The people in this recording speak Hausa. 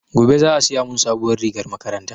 Gobe za a siya mun sabuwar rigar makaranta